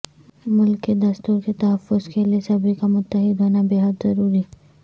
ملک کے دستور کے تحفظ کیلئے سبھی کا متحد ہونا بے حد ضروری